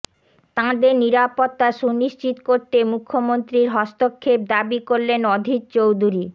তাঁদের নিরাপত্তা সুনিশ্চিত করতে মুখ্যমন্ত্রীর হস্তক্ষেপ দাবি করলেন অধীর চৌধুরী